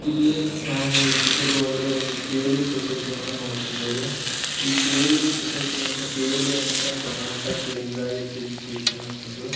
ಇಲ್ಲಿ ನಾವು ಈ ಚಿತ್ರದೊಳಗಡೆ ಒಂದು ಕೆ.ಎಲ್.ಈ ಸೊಸೈಟಿ ಅನ್ನು ನೋಡಕ್ ಹೊಂಥವ್ರಿ ಈ ಕೆ.ಎಲ್.ಈ ಸೊಸೈಟಿ ಅಂತ ಕೆ.ಎಲ್.ಈ ಅಂತಃ ಅಂದ್ರೆ ಕರ್ನಾಟಕ್ ಲಿಂಗಾಯತ್ ಎಜುಕೇಶನ್ ಅಂತ ಅಂದು --